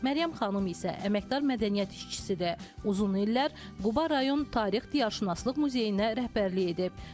Məryəm xanım isə əməkdar mədəniyyət işçisidir, uzun illər Quba rayon tarix-diyarşünaslıq muzeyinin rəhbərliyi edib.